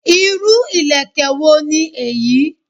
Irú ìlẹ̀kẹ̀ wo ni eyi?